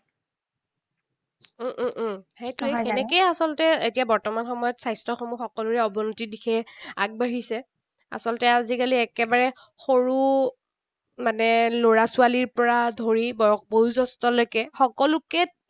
উম উম উম সেইটোৱেই। তেনেকেই আচলতে এতিয়া বৰ্তমান সময়ত স্বাস্থ্যসমূহ সকলোৰে অৱনতিৰ দিশে আগবাঢ়িছে। আচলতে আজিকালি একেবাৰে সৰু মানে লৰা ছোৱালীৰ পৰা ধৰি বয় বয়োজ্যেষ্ঠলৈকে সকলোকে